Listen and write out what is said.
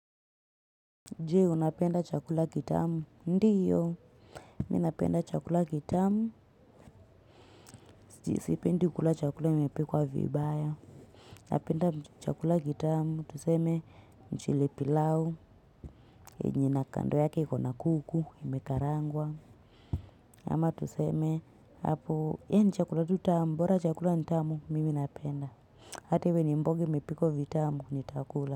Je, unapenda chakula kitamu? Ndiyo. Mimi inapenda chakula kitamu. Sipendi kula chakula imepikwa vibaya. Napenda chakula kitamu. Tuseme, mchele pilau. Yenye kando yake ikona kuku. Imekarangwa. Ama tuseme, hapo, yaani chakula tu tamu. Bora chakula ni tamu, mimi napenda. Hata iwe ni mboga imepikwa vitamu nitakula.